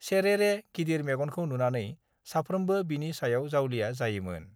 सेरेरे, गिदिर मेगनखौ नुनानै साफ्रोमबो बिनि सायाव जावलिया जायोमोन।